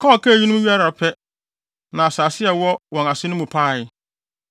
Ka a ɔkaa eyinom wiei ara pɛ, na asase a ɛwɔ wɔn ase no mu paee,